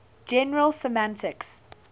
general semantics